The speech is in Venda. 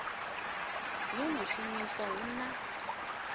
yo no shumiwa hu ḓo